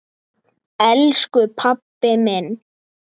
Elsku pabbi minn.